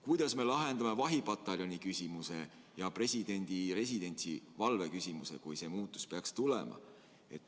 Kuidas me lahendame vahipataljoni küsimuse ja presidendi residentsi valve küsimuse, kui see muudatus peaks tulema?